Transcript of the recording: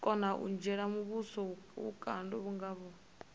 kona u dzhiela muvhuso vhukando